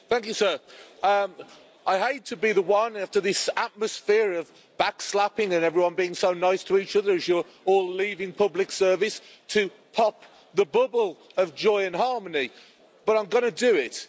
Mr President, I hate to be the one, after this atmosphere of backslapping and everyone being so nice to each other as you're all leaving public service, to pop the bubble of joy and harmony, but I'm going to do it.